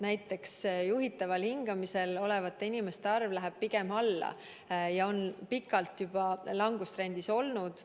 Näiteks juhitaval hingamisel olevate inimeste arv läheb pigem alla ja on pikalt juba langustrendis olnud.